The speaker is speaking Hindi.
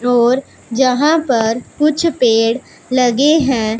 और यहां पर कुछ पेड़ लगे हैं।